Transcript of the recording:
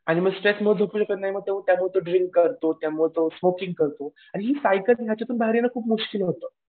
आणि मग स्ट्रेसमुळे झोपू शकत नाही मग त्यामुळे तो ड्रिंक करतो त्यामुळे तो स्मोकिंग करतो. आणि ही सायकल आहे याच्यातून बाहेर येणं खूप मुश्किल होतं.